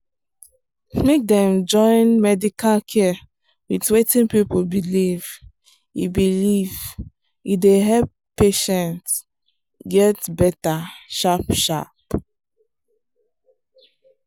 make dem join medical care with wetin people believe e believe e dey help patient get better sharp sharp.